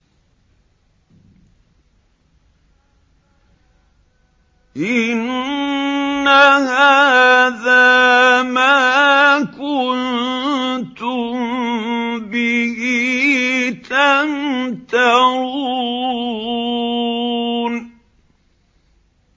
إِنَّ هَٰذَا مَا كُنتُم بِهِ تَمْتَرُونَ